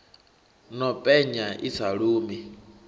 no penya i sa lumi